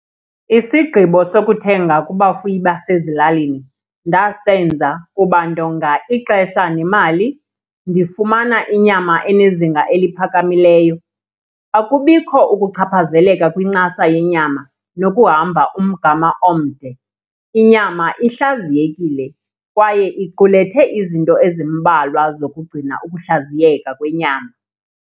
Isigqibo sokuthenga kubafuyi basezilalini ndasenza kuba ndonga ixesha nemali, ndifumana inyama enezinga eliphakamileyo, akubikho ukuchaphazeleka kwinkcaza yenyama nokuhamba umgama omde. Inyama ihlaziyekile kwaye iqulethe izinto ezimbalwa zokugcina ukuhlaziyeka kwenyama